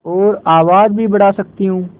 और आवाज़ भी बढ़ा सकती हूँ